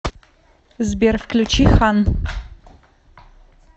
сбер включи хан